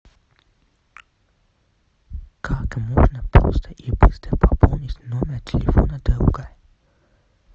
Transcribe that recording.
как можно просто и быстро пополнить номер телефона друга